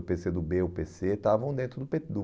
O pê cê do bê e o pê cê estavam dentro do pê